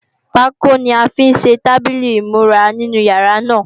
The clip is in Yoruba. Pákó ni a fi ṣe tábìlì ìmúra inú yàrá náà